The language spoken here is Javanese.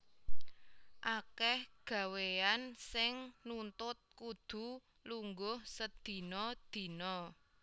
Akèh gawéyan sing nuntut kudu lungguh sedina dina